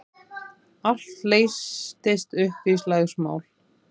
Allt leystist upp í slagsmál.